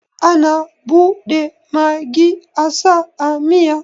Ana bude magi asa a miya